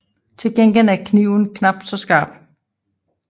Til gengæld er kniven knapt så skarp